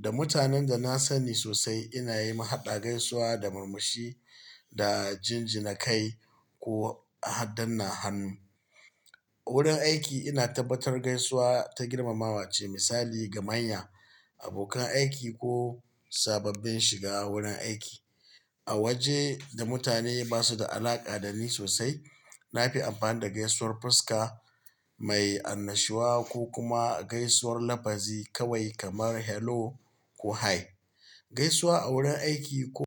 Da mutanen da na sani sosai ina yi mahaɗa gaisuwa, da murmushi, da jinjinakai ko ahadanna hannu. A wurin aiki ina tabbatar gaisuwa ta girmamawa ce misali ga manya, abokan aiki ko sababbin shiga wurin aiki. A waje da mutane ba su da alaƙa da ni sosai, na fi amfani da gaisuwar fuska mai annashuwa ko kuma gaisuwar lafazi kawai kamar "Hello" ko "Hi". Gaisuwa a wurin aiki ko.